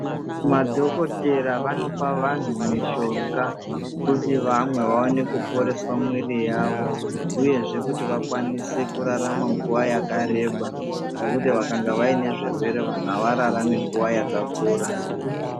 Madhokodhera vanopa vantu mishonga, kuti vamwe vaone kuporeswa mwiri yavo, uyezve kuti vakwanise kurarama nguwa yakareba nekuti vakanga vaine zvirwere vanhu avararami nguwa yakakura.